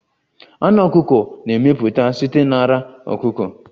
Anụ ọkụkọ na-emeputa site n'ara ọkụkọ